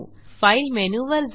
file मेनूवर जा